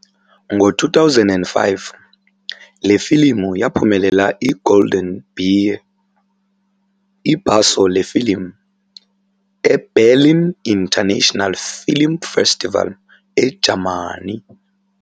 Ngo2005 le filimu yaphumelela I-Golden Bear, ibhaso lefilimu, eBerlin International Film Festival eJamani.